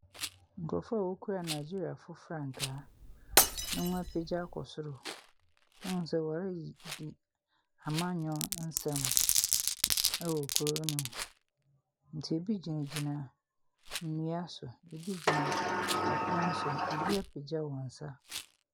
Ɛha yɛ nwuram. Nnua bebree sisi nwura no mu. Lɔɔre bi nso si nwura no mu. Nnipa bebree te lɔɔre no mu. Lɔɔre no aywɛ te sɛ apata no. Ɛsono kɛseɛ mmienu nso wɔ nnwura no mu.